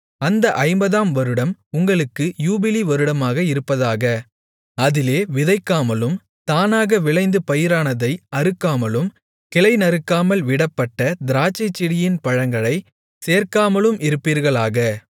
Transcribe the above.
அந்த ஐம்பதாம் வருடம் உங்களுக்கு யூபிலி வருடமாக இருப்பதாக அதிலே விதைக்காமலும் தானாக விளைந்து பயிரானதை அறுக்காமலும் கிளைநறுக்காமல் விடப்பட்ட திராட்சைச்செடியின் பழங்களைச் சேர்க்காமலும் இருப்பீர்களாக